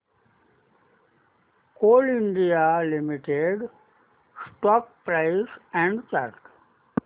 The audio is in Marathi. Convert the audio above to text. Coal India Limited stock price and chart